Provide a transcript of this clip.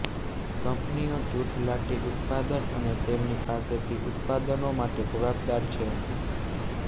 કંપનીઓ જૂથ લાટી ઉત્પાદન અને તેમની પાસેથી ઉત્પાદનો માટે જવાબદાર છે